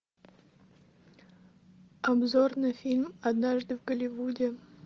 обзор на фильм однажды в голливуде